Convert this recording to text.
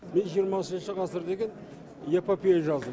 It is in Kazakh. мен жиырмасыншы ғасыр деген эпопея жаздым